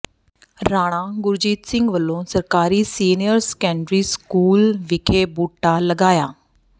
ਰਾਣਾ ਗੁਰਜੀਤ ਸਿੰਘ ਵੱਲੋਂ ਸਰਕਾਰੀ senior secondary school ਵਿਖੇ ਬੂਟਾ ਲਗਾਇਆ